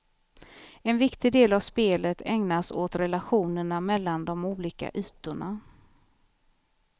En viktig del av spelet ägnas åt relationerna mellan de olika ytorna.